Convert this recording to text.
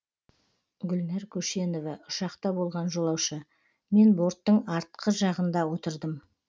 гүлнар көшенова ұшақта болған жолаушы мен борттың артқы жағында отырдым